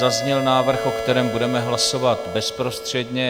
Zazněl návrh, o kterém budeme hlasovat bezprostředně.